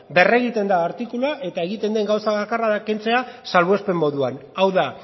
berregiten da artikulua eta egiten den gauza bakarra da kentzea salbuespen moduan hau da